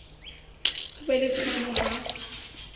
ho be le tshwano ha